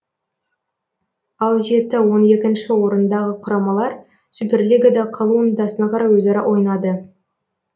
ал жеті он екінші орындағы құрамалар суперлигада қалу ынтасына қарай өзара ойнады